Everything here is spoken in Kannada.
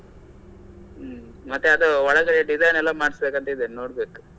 ಹ್ಮ್ ಮತ್ತೆ ಅದು ಒಳಗಡೆ design ಎಲ್ಲ ಮಾಡಸಬೇಕಂತ ಇದೆನೆ ನೋಡಬೇಕು.